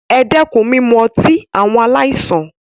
E dẹ́kun mímu ọtí, àwọn aláìsàn.